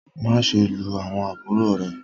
maṣe lu awọn àbúrò rẹ!